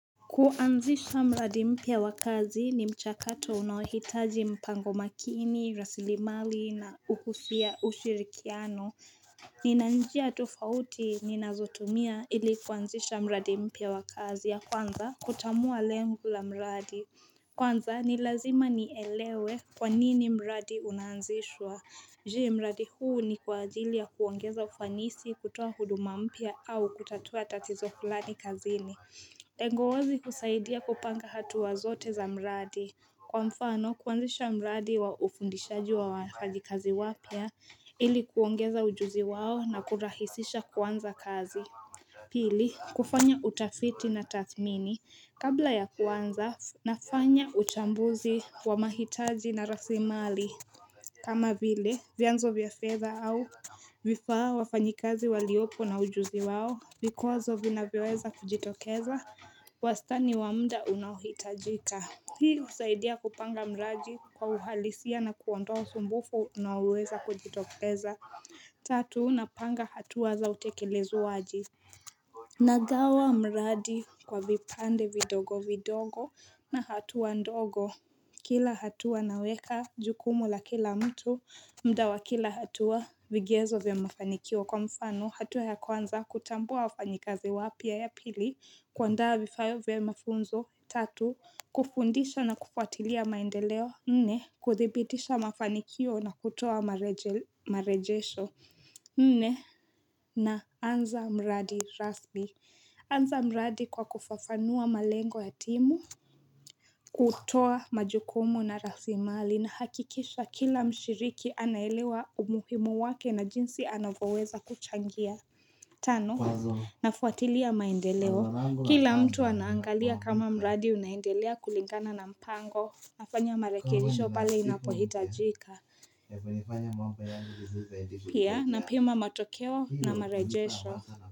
Kuanzisha mradi mpya wa kazi ni mchakato unaohitaji mpango makini, rasilimali na ushirikiano Ninanjia tufauti ninazotumia ili kuanzisha mradi mpya wa kazi ya kwanza kutamua lengu la mradi Kwanza nil azima nielewe kwa nini mradi unanzishwa Je, mradi huu ni kuazilia kuongeza ufanisi kutoa huduma mpia au kutatua tatizo kulani kazini Tengo wazi kusaidia kupanga hatu wazote za mradi Kwa mfano kuanzisha mradi wa ufundishaji wa wafanyakazi wapya ili kuongeza ujuzi wao na kurahisisha kuanza kazi Pili kufanya utafiti na tadhimini kabla ya kwanza nafanya utambuzi wa mahitaji na rasimali kama vile vianzo vya fedha au vifaa wafanyikazi waliopo na ujuzi wao Vikozo vina viweza kujitokeza, wastani wa muda unahitajika. Hii usaidia kupanga mradi kwa uhalisia na kuondoa sumbufu na uweza kujitokeza Tatu unapanga hatua za utekelezwaji Nagawa mradi kwa vipande vidogo vidogo na hatua ndogo Kila hatua naweka jukumu la kila mtu muda wa akila hatua, vigezo vya mafanikio kwa mfano hatu ya kwanza kutambua wafanyikazi wapya. Ya pili kuaa ndaa vifayo vya mafunzo Tatu kufundisha na kufuatilia maendeleo Nne Kuthibidisha mafanikio na kutoa marejesho Nne na anza mradi rasmi anza mradi kwa kufafanua malengo ya timu kutoa majukumu na rasimali na hakikisha kila mshiriki anailewa umuhimu wake na jinsi anavoweza kuchangia Tanu nafuatilia maendeleo Kila mtu anaangalia kama mradi unaendelea kulingana na mpango kufanya marekirisho pale inakuhitajika Pia na pima matokeo na marejesho.